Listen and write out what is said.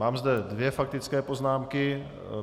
Mám zde dvě faktické poznámky.